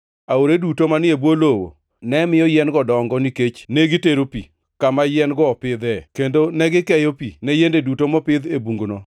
Aore duto manie bwo lowo, ne miyo yien-go dongo, nikech ne gitero pi, kama yien-go opidhie; kendo negikeyo pi, ne yiende duto mopidh e bunguno.